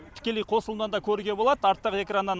тікелей қосылымнан да көруге болады арттағы экраннан